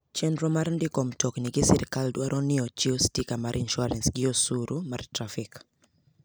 Chenro mar ndiko mtokni gi sirkal dwaro ni ochiw stika mar insuarans gi osuru mar trafik.